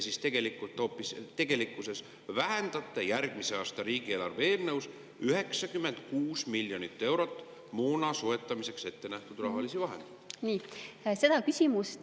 Miks te siis tegelikkuses vähendate järgmise aasta riigieelarve eelnõus moona soetamiseks ettenähtud rahalisi vahendeid 96 miljoni euro võrra?